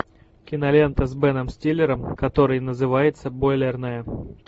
кинолента с беном стиллером которая называется бойлерная